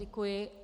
Děkuji.